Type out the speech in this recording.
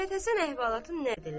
Məhəmmədhəsən əhvalatın nəql elədi.